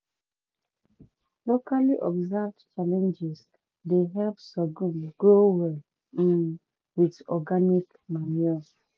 locally observed challenges dey help sorghum grow well um with organic manure."